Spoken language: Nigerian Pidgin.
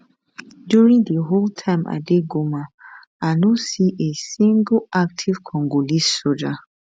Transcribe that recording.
during di whole time i dey goma i no see a single active congolese soldier